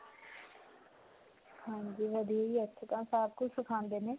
ਹਾਂਜੀ. ਵਧੀਆ ਹੈ ਇੱਥੇ ਤਾਂ ਸਭ ਕੁਝ ਸਿਖਾਉਂਦੇ ਨੇ.